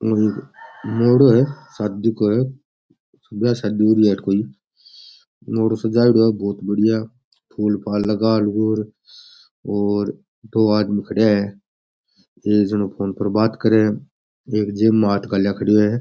ओ एक मोहड़ो है शादी को है ब्याह शादी हो री है कोई मोहड़ो सजाएडो है बहुत बढ़िया फूल फाल लगा लगू और दो आदमी खड्या है एक जान फ़ोन पे बात करे है और एक जेब में हाथ डाला खड़िया है।